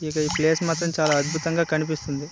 ఇక ఈ ప్లేస్ మొత్తం చాలా అద్భుతంగా కనిపిస్తుంది.